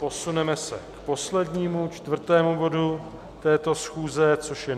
Posuneme se k poslednímu, čtvrtému bodu této schůze, což je